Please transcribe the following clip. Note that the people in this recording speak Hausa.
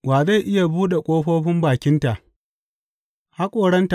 Wa zai iya buɗe ƙofofin bakinta?